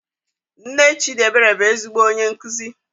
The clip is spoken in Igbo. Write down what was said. Nne Chidiebere bụ ezigbo onye nkuzi.